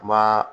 Ma